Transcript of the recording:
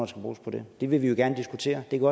skal bruges på det det vil vi jo gerne diskutere det kan